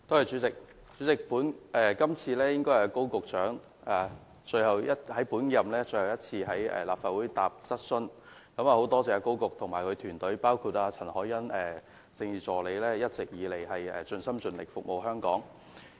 主席，今次應該是高局長最後一次在本屆立法會回答質詢，很感謝他及其團隊，包括政治助理陳凱欣一直以來盡心盡力服務香港。